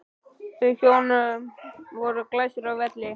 Þau hjón voru glæsileg á velli.